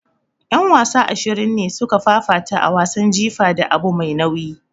Yan wasa ashirin ne suka fafata a wasan jifa da abu mai nauyi.